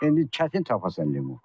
İndi çətin tapasan limon.